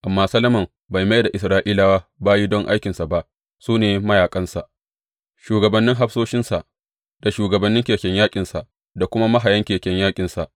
Amma Solomon bai mai da Isra’ilawa bayi don aikinsa ba; su ne mayaƙansa, shugabannin hafsoshinsa, da shugabannin keken yaƙinsa da kuma mahayan keken yaƙinsa.